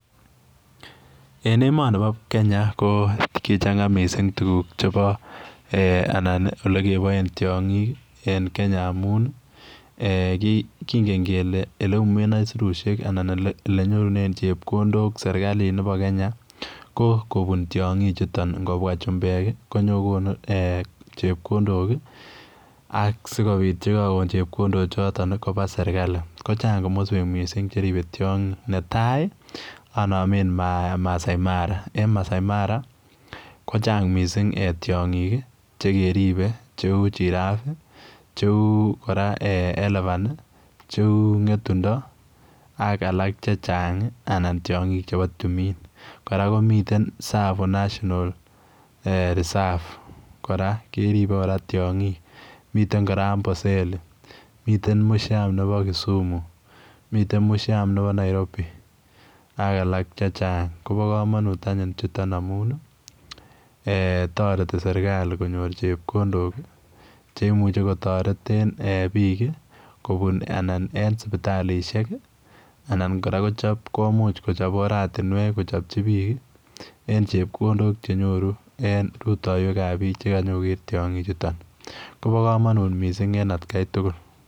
En emoni bo Kenya ko kichang'a missing tuguk chebo alan olegeboen tiong'ik en Kenya amun kingen kele oleyumen aisurusyek ala olenyorunen chebkondok serkalit nebo Kenya ko tiong'ichuton, ingobwa chumbek ii konyokogonu chepkondok ii ak sikobit yekagon chepkondok choton koba sergali ko chang' komoswek missing cheribe tiong'ik, netai ii onomen Masai mara, en Masai mara kochang' missing tiong'ik chekeribe cheu, Giraffe, cheu kora Elevan ii, cheu ng'etundo ak alak chechang' anan tiong'ik chebo timin, kora komiten Tsavo national reserve kora keribe kora tiong'ik, miten kora Amboseli, miten Museum nebo Kisumu, miten Museum nebo Nairobi ak alak checahng',kobo komonut anyun chuton amun toreti sergali konyor chepkondok cheimuche kotoreten biik kobun anan en sipitalisiek alan kora komuch kochob oratinuek kochopchi biik ii en chepkondok chenyoru en rutoiwek ab biik cheganyokoger tiong'ik chuton, kobo komonut missing en atkai tugul.